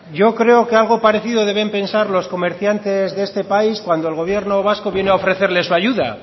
yo creo que algo parecido deben pensar los comerciantes de este país cuando el gobierno vasco vino a ofrecerles su ayuda